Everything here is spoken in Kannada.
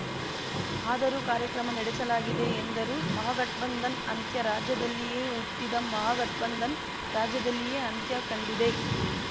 ಆದರೂ ಕಾರ್ಯಕ್ರಮ ನಡೆಸಲಾಗಿದೆ ಎಂದರು ಮಹಾಗಠ್ ಬಂಧನ್ ಅಂತ್ಯ ರಾಜ್ಯದಲ್ಲಿಯೇ ಹುಟ್ಟಿದ ಮಹಾಗಠ್ ಬಂಧನ್ ರಾಜ್ಯದಲ್ಲಿಯೇ ಅಂತ್ಯ ಕಂಡಿದೆ